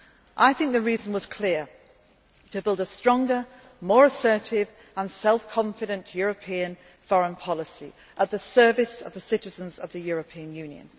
place. I think the reason was clear to build a stronger, more assertive and self confident European foreign policy at the service of the citizens of the European